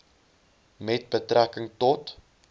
met betrekking tot